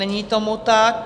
Není tomu tak.